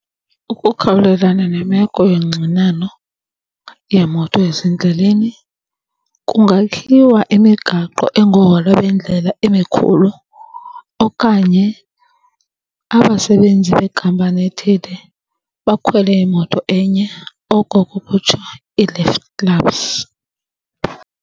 Ukukhawulelana nemeko yongxinano yeemoto ezindleleni kungakhiwa imigaqo engowola bendlela emikhulu okanye abasebenzi bekhampani ethile bakhwele imoto enye, oko kukutsho i-lift clubs.